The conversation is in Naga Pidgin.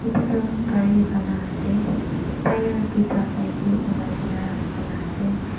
edu tu gari bana ase tyre tuita side tae olai kaena rakhikaena ase.